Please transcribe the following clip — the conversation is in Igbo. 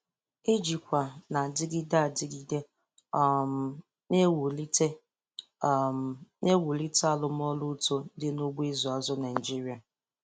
Ijikwa na-adịgide adịgide um na-ewulite um na-ewulite arụmọrụ uto dị n'ugbo ịzụ azụ Naịjiria.